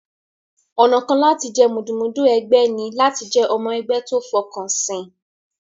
Ọ̀nà kan láti jẹ́ mùdùmúdù ẹgbẹ́ ní láti jẹ́ ọmọ ẹgbẹ́ tó fọkànsìn.